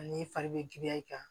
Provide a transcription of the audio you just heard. Ani fari bɛ giriya i kan